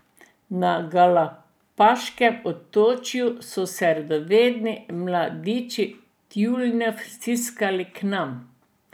Na Galapaškem otočju so se radovedni mladiči tjulnjev stiskali k nam.